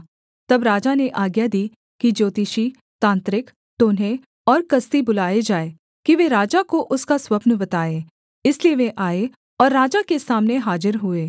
तब राजा ने आज्ञा दी कि ज्योतिषी तांत्रिक टोन्हे और कसदी बुलाए जाएँ कि वे राजा को उसका स्वप्न बताएँ इसलिए वे आए और राजा के सामने हाजिर हुए